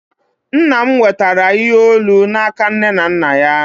Nna m nwetara ihe olu n'aka nne na nna ya